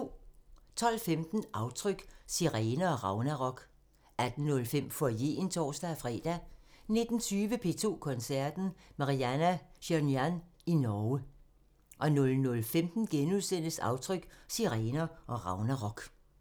12:15: Aftryk – Sirener og Ragnarok 18:05: Foyeren (tor-fre) 19:20: P2 Koncerten – Marianna Shirinyan i Norge 00:15: Aftryk – Sirener og Ragnarok *